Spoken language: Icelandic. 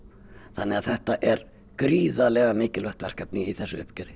þannig að þetta er gríðarlega merkilegt verkefni í þessu uppgjöri